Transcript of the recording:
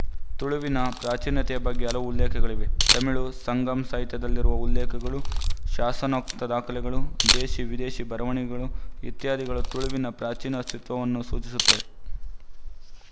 ತುಳುವಿನ ಪ್ರಾಚೀನತೆಯ ಬಗ್ಗೆ ಹಲವು ಉಲ್ಲೇಖಗಳಿವೆ ತಮಿಳು ಸಂಗಂ ಸಾಹಿತ್ಯದಲ್ಲಿರುವ ಉಲ್ಲೇಖಗಳು ಶಾಸನೋಕ್ತ ದಾಖಲೆಗಳು ದೇಶೀ ವಿದೇಶಿ ಬರವಣಿಗೆಗಳು ಇತ್ಯಾದಿಗಳು ತುಳುವಿನ ಪ್ರಾಚೀನ ಅಸ್ತಿತ್ವವನ್ನು ಸೂಚಿಸುತ್ತವೆ